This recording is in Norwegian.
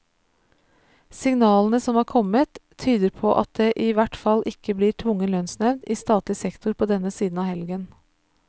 Signalene som er kommet, tyder på at det i hvert fall ikke blir tvungen lønnsnevnd i statlig sektor på denne siden av helgen.